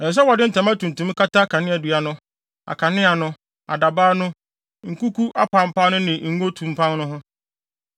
“Ɛsɛ sɛ wɔde ntama tuntum kata kaneadua no, akanea no, adabaw no, nkuku apampaa no ne ngo tumpan no ho.